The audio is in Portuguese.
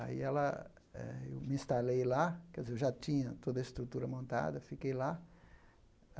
Aí ela eh eu me instalei lá, quer dizer, eu já tinha toda a estrutura montada, fiquei lá.